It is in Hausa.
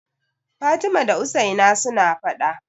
Fatima da Usaina suna faɗa.